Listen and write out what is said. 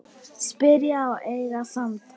Spyrja og eiga samtal.